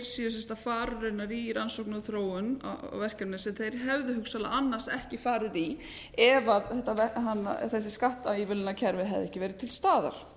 séu að fara í rannsóknir og þróun á verkefni sem þeir hefðu hugsanlega annars ekki farið í ef þessi skattívilnunarkerfið hefðu ekki verið til staðar